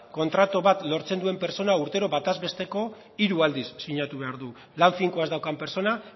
kontratu bat lortzen duen pertsona urtero batez besteko hiru aldiz sinatu behar du lan finko ez daukan pertsona